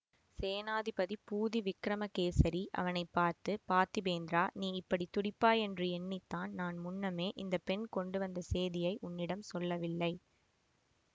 சேநாதிபதி பூதி விக்கிரமகேசரி அவனை பார்த்து பார்த்திபேந்திரா நீ இப்படி துடிப்பாய் என்று எண்ணித்தான் நான் முன்னமே இந்த பெண் கொண்டு வந்த சேதியை உன்னிடம் சொல்லவில்லை